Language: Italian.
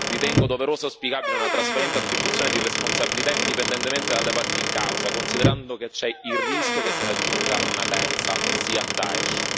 Ritengo doverosa e auspicabile una trasparente attribuzione di responsabilità, indipendentemente dalle parti in causa, considerando che c'è il rischio che se ne aggiunga una terza, ossia Daesh.